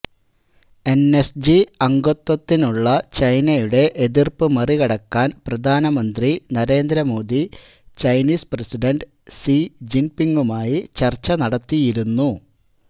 എന്എസ്ജി അംഗത്വത്തിനുള്ള ചൈനയുടെ എതിര്പ്പ് മറികടക്കാന്പ്രധാനമന്ത്രി Narendra Modi Chinese president see ജിന്പിങ്ങുമായി ചര്ച്ച നടത്തിയിരുന്നു